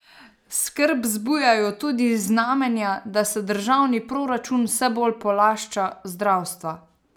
Skrb zbujajo tudi znamenja, da se državni proračun vse bolj polašča zdravstva.